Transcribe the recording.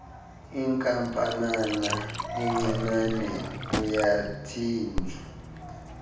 inkampanana encinane uyathinjwa